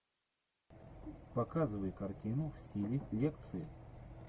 показывай картину в стиле лекции